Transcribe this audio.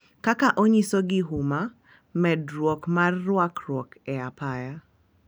Kaka onyiso gi huma medruok mar rwakruok e apaya,